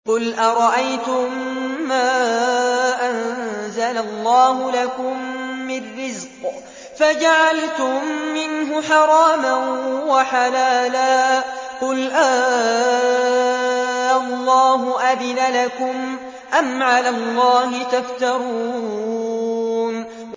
قُلْ أَرَأَيْتُم مَّا أَنزَلَ اللَّهُ لَكُم مِّن رِّزْقٍ فَجَعَلْتُم مِّنْهُ حَرَامًا وَحَلَالًا قُلْ آللَّهُ أَذِنَ لَكُمْ ۖ أَمْ عَلَى اللَّهِ تَفْتَرُونَ